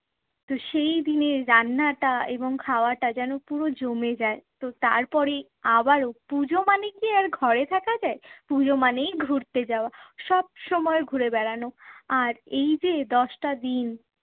তো সেই দিনের রান্নাটা এবং খাওয়াটা যেন পুরো জমে যায়। তো তারপরেই আবারো পুজো মানে কি আর ঘরে থাকা যায়? পুজো মানেই ঘুরতে যাওয়া। সব সময় ঘুরে বেড়ানো। আর এই যে দশটা দিন,